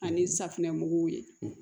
Ani safinɛmugu ye